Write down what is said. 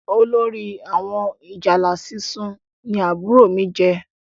Olórí àwọn ìjálá sísun ní àbúrò mí jẹ